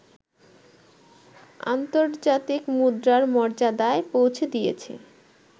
আন্তর্জাতিক মুদ্রার মর্যাদায় পৌঁছে দিয়েছে